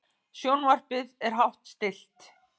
Sjónvarpið er hátt stillt.